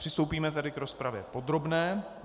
Přistoupíme tedy k rozpravě podrobné.